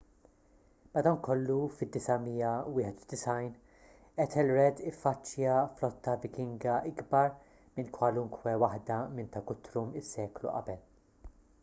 madankollu fid-991 ethelred iffaċċja flotta vikinga ikbar minn kwalunkwe waħda minn ta' guthrum is-seklu qabel